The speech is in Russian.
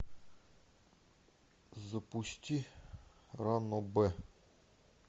запусти ранобэ